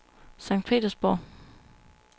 Sankt Petersborg